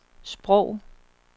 sprog